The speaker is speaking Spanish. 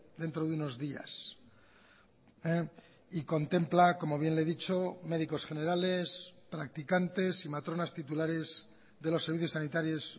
dentro de unos días y contempla como bien le he dicho médicos generales practicantes y matronas titulares de los servicios sanitarios